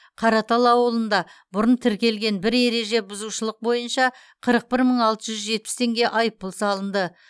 қаратал ауылында бұрын тіркелген бір ереже бұзушылық бойынша қырық бір мың алты жүз жетпіс теңге айыппұл салынды